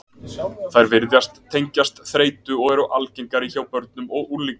Þær virðast tengjast þreytu, og eru algengari hjá börnum og unglingum.